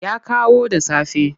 Ya kawo da safe.